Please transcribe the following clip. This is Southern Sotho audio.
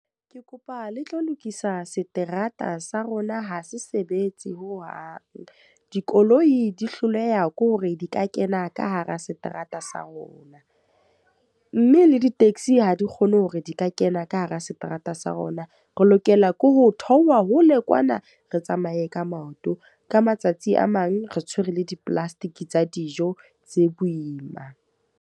Ke kopa le tlo lokisa seterata sa rona ho se sebetse hohang. Dikoloi di hloleha ke hore di ka kena ka hara seterata sa rona. Mme le di-taxi ha di kgone hore di ka kena ka hara seterata sa rona. Re lokela ke ho theoha hole kwana, re tsamaye ka maoto. Ka matsatsi a mang re tshwere le di-plastic tsa dijo tse boima.